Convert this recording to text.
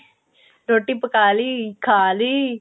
ਰੋਟੀ ਪਕਾ ਲੀ ਖਾਲੀ